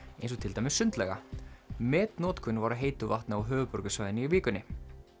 eins og til dæmis sundlauga metnotkun var á heitu vatni á höfuðborgarsvæðinu í vikunni